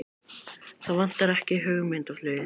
Það vantar ekki hugmyndaflugið!